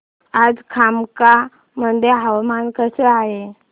आज कामाख्या मध्ये हवामान कसे आहे